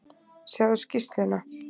Sjáðu skýrsluna.